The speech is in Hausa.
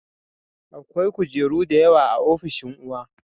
Akwai kujeru da yawa a ofishin uwa